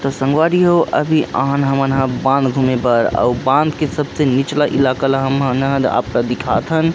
तो संगवारी हो अभी बांध गुमे बर ओ कर सबसे निचला इलाका हम अन दिखात हन।